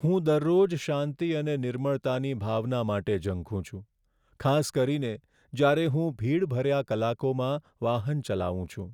હું દરરોજ શાંતિ અને નિર્મળતાની ભાવના માટે ઝંખું છું, ખાસ કરીને જ્યારે હું ભીડ ભર્યા કલાકોમાં વાહન ચલાવું છું.